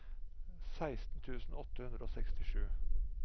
seksten tusen åtte hundre og sekstisju